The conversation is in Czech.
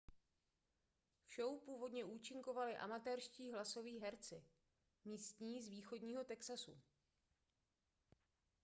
v show původně účinkovali amatérští hlasoví herci místní z východního texasu